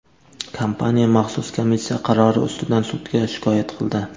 kompaniya maxsus komissiya qarori ustidan sudga shikoyat qildi.